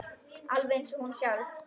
Alveg eins og hún sjálf.